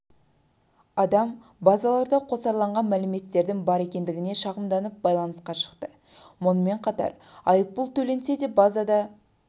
адам базаларда қосарланған мәліметтердің бар екендігіне шағымданып байланысқа шықты мұнымен қатар айыппұл төленсе де базада